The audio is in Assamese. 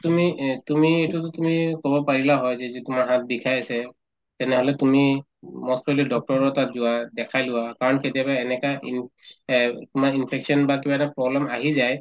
তুমি এহ্ তুমি এইটো তুমি কব পাৰিলা হৈ যে যদি তোমাৰ হাত বিষাই আছে তেনেহলে তুমি উম most probably doctor ৰৰ তাত যোৱা দেখাই লোৱা কাৰণ কেতিয়াবা এনেকা in তোমাৰ infection বা কিবা এটা problem আহি যায়